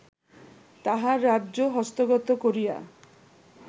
তাঁহার রাজ্য হস্তগত করিয়া